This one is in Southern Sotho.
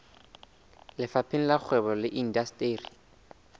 lefapheng la kgwebo le indasteri